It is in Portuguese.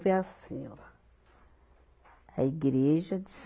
Vai ser assim, ó. Tá. A igreja de